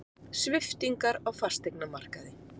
Sviptingar á fasteignamarkaði